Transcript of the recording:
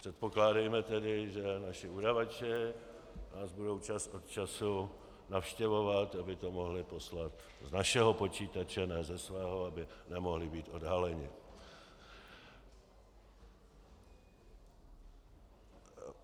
Předpokládejme tedy, že naši udavači nás budou čas od času navštěvovat, aby to mohli poslat z našeho počítače, ne ze svého, aby nemohli být odhaleni.